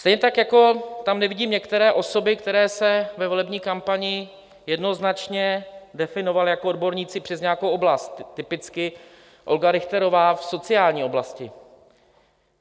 Stejně tak jako tam nevidím některé osoby, které se ve volební kampani jednoznačně definovaly jako odborníci přes nějakou oblast, typicky Olga Richterová v sociální oblasti.